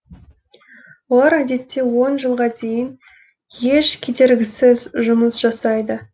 олар әдетте он жылға дейін еш кедергісіз жұмыс жасайды